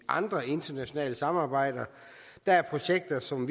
andre internationale samarbejder der er projekter som